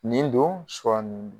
Nin don